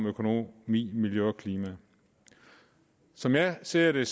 økonomi miljø og klima som jeg ser det er